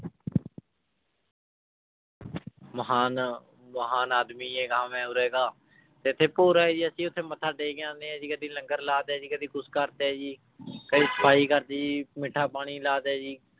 ਮਹਾਨ ਮਹਾਨ ਆਦਮੀ ਹੈਗਾ ਮੈਂ ਉਰੇ ਦਾ, ਤੇ ਇੱਥੇ ਭੋਰਾ ਹੈ ਜੀ ਅਸੀਂ ਉੱਥੇ ਮੱਥਾ ਟੇਕ ਆਉਂਦੇ ਹਾਂ ਜੀ ਕਦੇ ਲੰਗਰ ਲਾ ਦਿੱਤਾ ਜੀ, ਕਦੇ ਕੁਛ ਕਰ ਦਿੱਤਾ ਜੀ ਕਦੇ ਸਫ਼ਾਈ ਕਰ ਦਿੱਤੀ ਜੀ, ਮਿੱਠਾ ਪਾਣੀ ਲਾ ਦਿੱਤਾ ਜੀ।